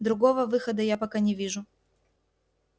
другого выхода я пока не вижу